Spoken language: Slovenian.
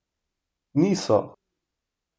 Niso!